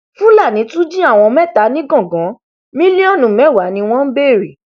fúlàní tún jí àwọn mẹta nìgangan mílíọnù mẹwàá ni wọn ń béèrè